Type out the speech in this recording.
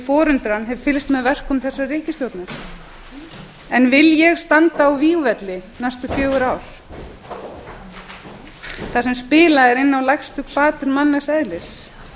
forundran hef fylgst með verkum þessarar ríkisstjórnar en vil ég standa á vígvelli í næstu fjögur ár þar sem spilað er inn á lægstu hvatir mannlegs eðlis